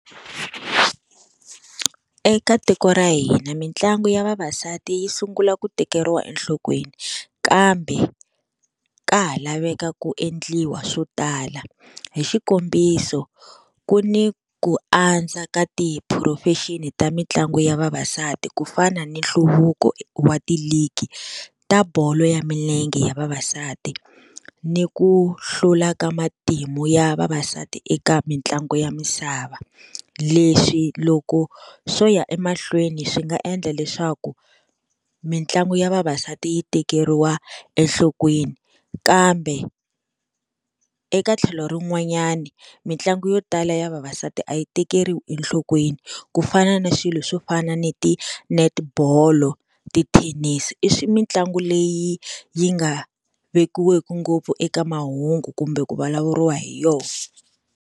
Eka tiko ra hina mitlangu ya vavasati yi sungula ku tekeriwa enhlokweni kambe ka ha laveka ku endliwa swo tala hi xikombiso ku ni ku antswa ka tiphurofeshini ta mitlangu ya vavasati ku fana ni nhluvuko wa tiligi ta bolo ya milenge ya vavasati ni ku hlula ka matimu ya vavasati eka mitlangu ya misava. Leswi loko swo ya emahlweni swi nga endla leswaku mitlangu ya vavasati yi tekeriwa enhlokweni kambe eka tlhelo rin'wanyana mitlangu yo tala ya vavasati a yi tekeriwi enhlokweni ku fana na swilo swo fana ni ti-net bolo, tithenisi i mitlangu leyi yi nga vekiweki ngopfu eka mahungu kumbe ku vulavuriwa hi yona.